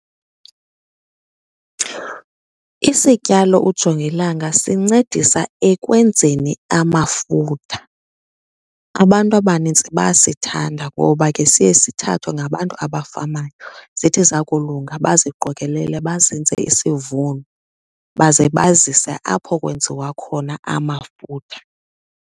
Isityalo ujongilanga sincedisa ekwenzeni amafutha. Abantu abanintsi bayasithanda ngoba ke siye sithathwe ngabantu abafamayo, zithi zakulunga baziqokelele bazenze isivuno baze bazise apho kwenziwa khona amafutha.